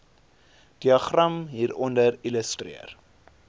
diagram hieronder illustreer